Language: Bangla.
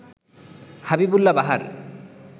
হাবিবুল্লাহ বাহার